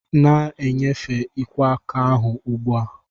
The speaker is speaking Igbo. Na-enyefe ikwo aka ahu ugbu a!